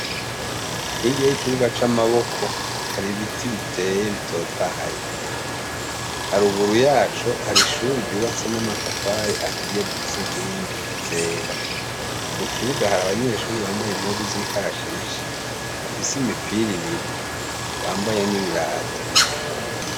Hirya y'ikibuga c'amaboko hari ibiti biteye bitotahaye, haruguru yaco hari ishure ryubatse n'amatafari ahiye rifise inkingi zera. Mu kibuga hari abanyeshure bambaye impuzu z'ikarashishi bafise imipira ibiri bambaye n'ibirato.